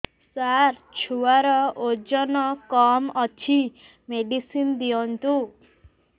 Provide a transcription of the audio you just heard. ସାର ଛୁଆର ଓଜନ କମ ଅଛି ମେଡିସିନ ଦିଅନ୍ତୁ